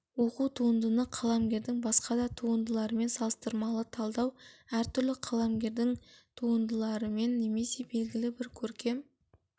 оқу туындыны қаламгердің басқа да туындыларымен салыстырмалы талдау әр түрлі қаламгерлердің туындыларымен немесе белгілі-бір көркем